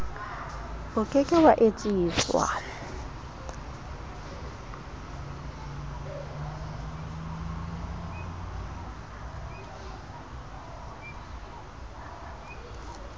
o ke ke wa etsiswa